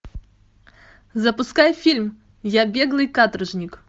запускай фильм я беглый каторжник